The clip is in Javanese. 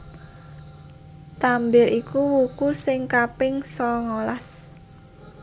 Tambir iku wuku sing kaping sangalas